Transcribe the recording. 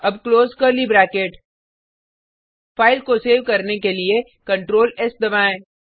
अब close curly bracket file को save करने के लिए CtrlS दबाएँ